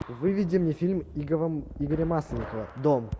выведи мне фильм игоря масленникова дом